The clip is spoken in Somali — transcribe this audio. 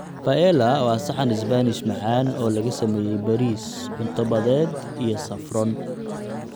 Paella waa saxan Isbaanish macaan oo laga sameeyay bariis, cunto badeed iyo saffron.